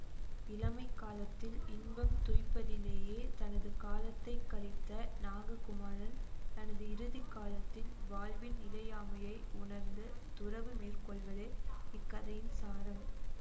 இளமைக் காலத்தில் இன்பம் துய்ப்பதிலேயே தனது காலத்தை கழித்த நாககுமாரன் தனது இறுதி காலத்தில் வாழ்வின் நிலையாமையை உணர்ந்து துறவு மேற்கொள்வதே இக் கதையின் சாரம்